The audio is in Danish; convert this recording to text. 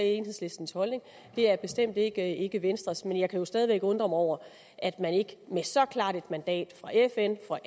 enhedslistens holdning det er bestemt ikke ikke venstres men jeg kan stadig væk undre mig over at man ikke med så klart et mandat fra fn og